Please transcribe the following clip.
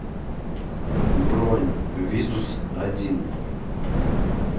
бронь визус один